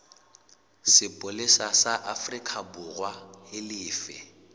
sepolesa sa aforikaborwa e lefe